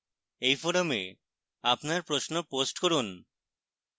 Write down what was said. এই forum আপনার প্রশ্ন post করুন